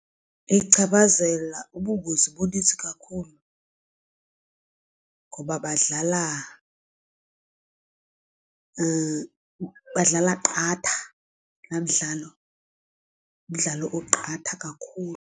Ichaphazela ubungozi bunintsi kakhulu ngoba badlala badlala qatha laa mdlalo ngumdlalo oqatha kakhulu.